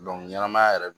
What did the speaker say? ɲɛnamaya yɛrɛ